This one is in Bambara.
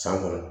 San kɔnɔ